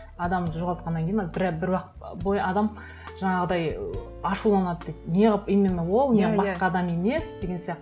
адамды жоғалтқаннан кейін ол бір уақыт бойы адам жаңағыдай ыыы ашуланады дейді не қылып именно ол басқа адам емес деген сияқты